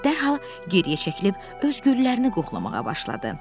Piqlet dərhal geriyə çəkilib, öz güllərini qoxlamağa başladı.